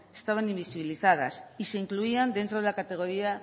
estaban invisibilizadas y se incluían dentro de la categoría